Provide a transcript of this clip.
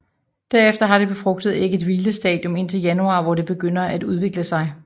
Derefter har det befrugtede æg et hvilestadium indtil januar hvor det begynder at udvikle sig